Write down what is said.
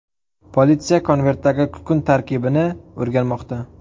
Politsiya konvertdagi kukun tarkibini o‘rganmoqda.